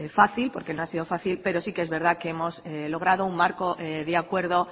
fácil porque no ha sido fácil pero sí que es verdad que hemos logrado un marco de acuerdo